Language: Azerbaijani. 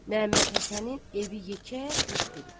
Məhəmmədhəsənin evi yekə qış evidir.